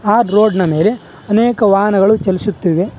ಆ ರೋಡ್ ನ ಮೇಲೆ ಅನೇಕ ವಾಹನಗಳು ಚಲಿಸುತ್ತಿವೆ.